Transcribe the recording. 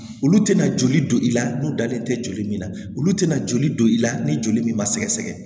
Olu tɛna joli don i la n'u dalen tɛ joli min na olu tɛna joli don i la ni joli min ma sɛgɛsɛgɛ